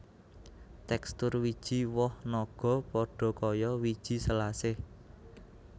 Tekstur wiji woh naga padha kaya wiji selasih